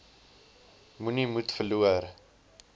moenie moed verloor